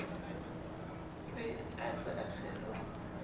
be a se a kgeloha